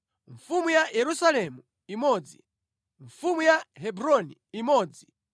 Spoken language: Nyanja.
mfumu ya Yerusalemu imodzi mfumu ya Hebroni imodzi